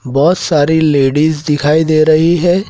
बहोत सारी लेडिस दिखाई दे रही है।